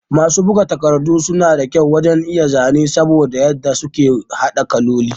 Masu bugu takardu sun da kyau wajan iya zane saboda yadda suke hada kalloli